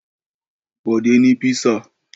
Bọ̀dé ní písà.